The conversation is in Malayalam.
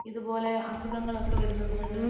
ഇതുപോലെ അസുഖങ്ങൾ ഒക്കെ വരുന്നോണ്ട്